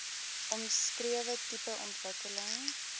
omskrewe tipe ontwikkeling